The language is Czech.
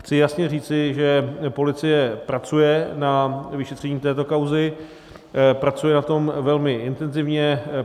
Chci jasně říci, že policie pracuje na vyšetření této kauzy, pracuje na tom velmi intenzivně.